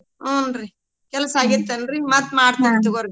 ಹೂನ್ರೀ ಕೆಲ್ಸ ಆಗಿತ್ತನ್ರೀ ಮತ್ ಮಾಡ್ತೇನ್ ತಗೋರೀ .